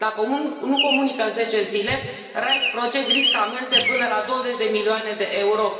Dacă nu comunică în zece zile, RISE Project riscă amenzi de până la 20 de milioane de euro.